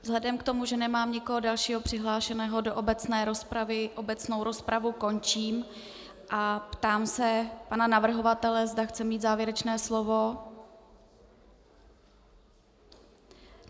Vzhledem k tomu, že nemám nikoho dalšího přihlášeného do obecné rozpravy, obecnou rozpravu končím a ptám se pana navrhovatele, zda chce mít závěrečné slovo.